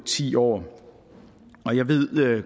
ti år og jeg ved